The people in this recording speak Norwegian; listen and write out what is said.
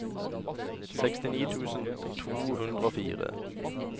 sekstini tusen to hundre og fire